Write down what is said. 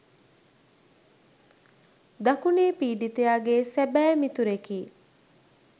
දකුණේ පීඩිතයාගේ සැබෑ මිතුරෙකි.